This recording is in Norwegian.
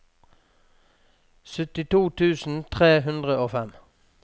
syttito tusen tre hundre og fem